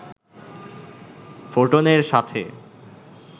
ফোটনের সাথে